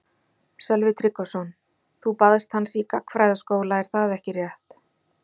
Sölvi Tryggvason: Þú baðst hans í gagnfræðaskóla er það ekki rétt?